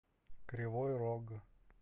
кривой рог